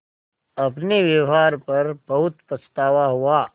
अपने व्यवहार पर बहुत पछतावा हुआ